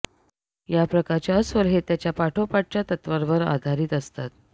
या प्रकारचे अस्वल हे त्याच्या पाठोपाठच्या तत्त्वांवर आधारित असतात